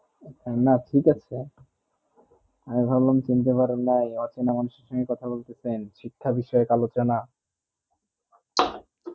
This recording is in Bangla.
না ত্যিক আছে আমি ভাব্লেন চিনতে পারেনা নাই অচিন্হ মানুষ থেকে কথা বলতেছেন শিক্ষা বিষয়ে এক আলোচনা